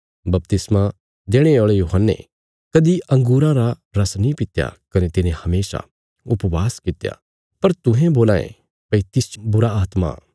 बपतिस्मा देणे औल़े यूहन्ने कदीं अंगूरां रा रस नीं पित्या कने तिने हमेशा उपवास कित्या पर तुहें बोलां ये भई तिसच बुरीआत्मा इ